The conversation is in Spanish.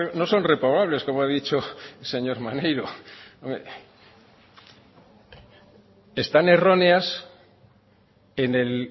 no son reprobables como ha dicho el señor maneiro están erróneas en el